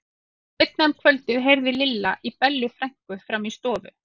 Seinna um kvöldið heyrði Lilla í Bellu frænku frammi í stofu.